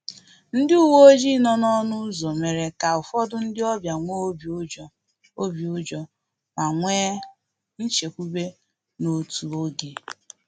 Ndị uweojii nọ n’ọnụ ụzọ mere ka ụfọdụ ndị ọbịa nwee obi ụjọ obi ụjọ ma nwee nchekwube n’otu oge